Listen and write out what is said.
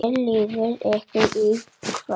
Hvernig líður ykkur í kvöld?